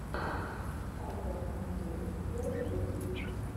шайтер андрей первый выпуск